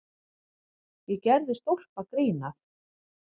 Ég gerði stólpagrín að